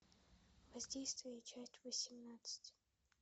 воздействие часть восемнадцать